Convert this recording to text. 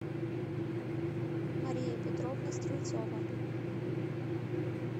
мария петровна стрельцова